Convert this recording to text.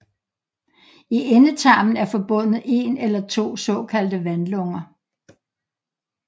I endetarmen er forbundet en eller to såkaldte vandlunger